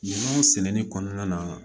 Minɛnw sɛnɛni kɔnɔna na